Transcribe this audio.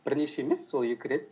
бірнеше емес сол екі рет